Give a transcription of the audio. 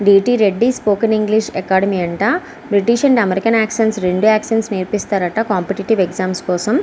D. T. Reddy spoken English academy అంట British and American accent రెండు accent నేర్పిస్తారు అంట కాంపిటీటివ్ ఎగ్జామ్స్ కోసం.